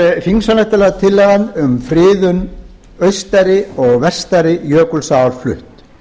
er þingsályktunartillagan um friðun austari og vestari jökulsár flutt